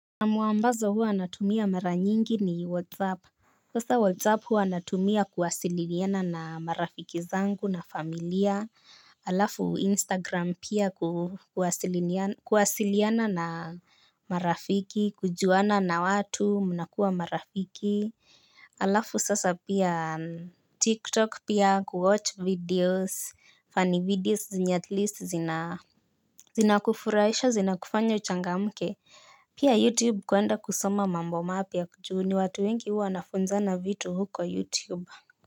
Na muambazo huwa anatumia mara nyingi ni whatsapp. Sasa whatsapp huwa anatumia kuwasililiana na marafiki zangu na familia alafu instagram pia kuwasiliana na marafiki kujuana na watu munakuwa marafiki. Alafu sasa pia tiktok pia kuwatch videos funny videos zina at least zina kufuraisha zina kufanya uchanga mke. Pia YouTube kuenda kusoma mambo mapya ju ni watu wengi uwa nafunza na vitu huko YouTube.